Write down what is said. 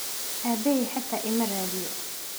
Aabbahay xataa ima raadiyo.